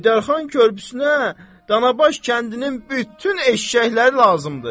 Heydər xan körpüsünə Danabaş kəndinin bütün eşşəkləri lazımdır.